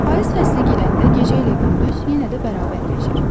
Payız fəsli girəndə gecə ilə gündüz yenə də bərabərləşir.